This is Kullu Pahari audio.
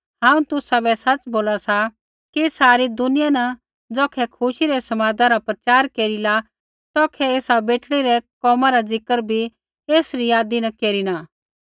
हांऊँ तुसाबै सच़ बोला सा कि सारी दुनिया न ज़ौखै खुशी रै समादा रा प्रचार केरिला तौखै एसा बेटड़ी रै कोमा रा ज़िक्र भी एसरी यादी न केरिना